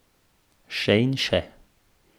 Še in še.